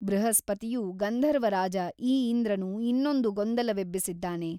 ಬೃಹಸ್ಪತಿಯು ಗಂಧರ್ವರಾಜ ಈ ಇಂದ್ರನು ಇನ್ನೊಂದು ಗೊಂದಲವೆಬ್ಬಿಸಿದ್ದಾನೆ.